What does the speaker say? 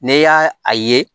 Ne y'a a ye